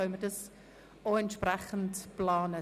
Dann können wir entsprechend planen.